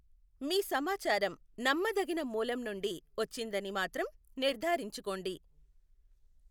మీ సమాచారం నమ్మదగిన మూలం నుండి వచ్చిందని మాత్రం నిర్ధారించుకోండి.